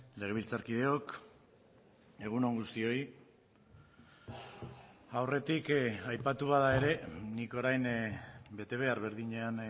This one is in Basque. legebiltzarkideok egun on guztioi aurretik aipatu bada ere nik orain bete behar berdinean